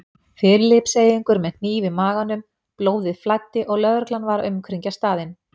Filippseyingur með hníf í maganum, blóðið flæddi og lögreglan var að umkringja staðinn.